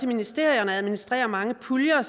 ministerierne og administrerer mange puljer